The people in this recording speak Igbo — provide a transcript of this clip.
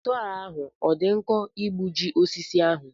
Sọọ ahụ ọ dị nkọ igbuji osisi ahụ.